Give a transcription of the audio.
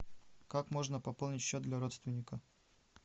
как можно пополнить счет для родственника